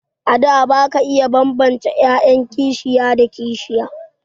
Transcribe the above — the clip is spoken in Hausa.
A da ba ka iya bambance 'ya'yan kishiya da kishiya.